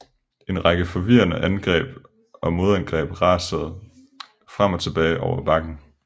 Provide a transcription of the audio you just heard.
En række forvirrende angreb og modangreb rasede frem og tilbage over bakken